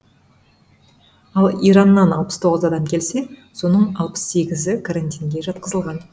ал ираннан алпыс тоғыз адам келсе соның алпыс сегізіі карантинге жатқызылған